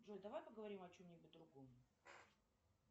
джой давай поговорим о чем нибудь другом